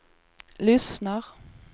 lyssnar